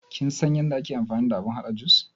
Kin san yadda ake amfani da abun haɗa jus?